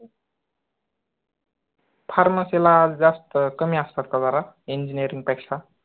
Pharmacy ला जास्त कमी आसतात जरा engineering पेक्षा